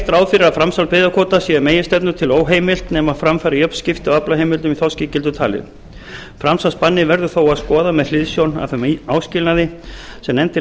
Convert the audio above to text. að framsal byggðakvóta sé að meginstefnu til óheimilt nema fram fari jöfn skipti á aflaheimildum í þorskígildum talið framsalsbannið verður þó að skoða með hliðsjón af þeim áskilnaði sem nefndin